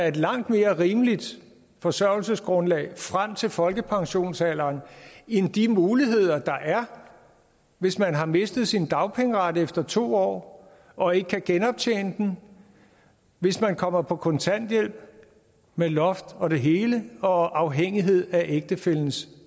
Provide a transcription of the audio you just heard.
et langt mere rimeligt forsørgelsesgrundlag frem til folkepensionsalderen end de muligheder der er hvis man har mistet sin dagpengeret efter to år og ikke kan genoptjene den hvis man kommer på kontanthjælp med loft og det hele og afhængighed af ægtefællens